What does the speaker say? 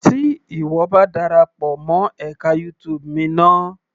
Tí ìwọ bá ma darapọ̀ mọ́ ẹka YouTube mi ná.